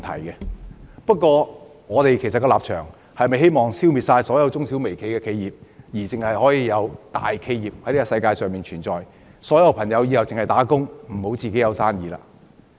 然而，我們是否希望消滅世界上所有中小微企而只容許大企業存在，或日後所有人都要打工而不要自己做生意呢？